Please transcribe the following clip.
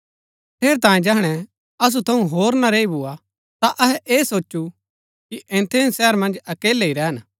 ठेरैतांये जैहणै असु थऊँ होर ना रैई भुआ ता अहै ऐ सोचु कि एथेन्स शहर मन्ज अकेलै ही रैहन